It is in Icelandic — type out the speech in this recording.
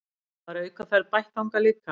Var aukaferð bætt þangað líka